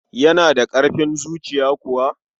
Yana da ƙarfin zuciya kuwa?